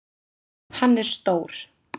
Hann er stór.